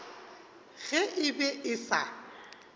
ge e be e sa